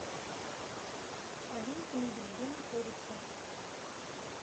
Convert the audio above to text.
олимп мебель где находится